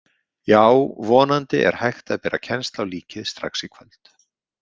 Já, vonandi er hægt að bera kennsl á líkið strax í kvöld.